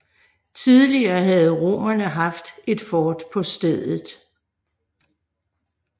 Tidligere havde romerne haft et fort på stedet